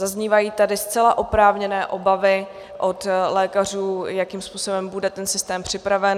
Zaznívají tady zcela oprávněné obavy od lékařů, jakým způsobem bude ten systém připraven.